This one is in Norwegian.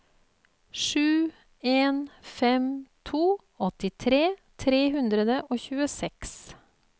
sju en fem to åttitre tre hundre og tjueseks